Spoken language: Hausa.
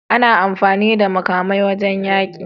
Ana amfani da makamai wajan yaƙi